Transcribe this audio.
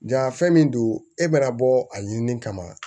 Ja fɛn min don e bɛna bɔ a ɲini ni kama